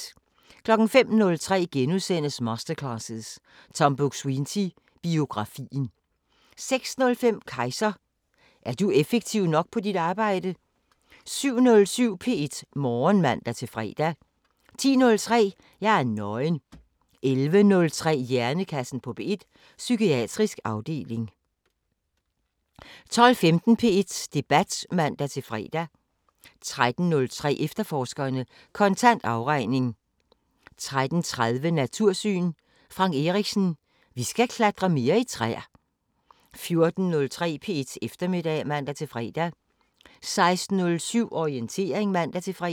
05:03: Masterclasses – Tom Buk-Swienty: Biografien * 06:05: Kejser: Er du effektiv nok på dit arbejde? 07:07: P1 Morgen (man-fre) 10:03: Jeg er nøgen 11:03: Hjernekassen på P1: Psykiatrisk afdeling 12:15: P1 Debat (man-fre) 13:03: Efterforskerne: Kontant afregning 13:30: Natursyn: Frank Erichsen: Vi skal klatre mere i træer 14:03: P1 Eftermiddag (man-fre) 16:07: Orientering (man-fre)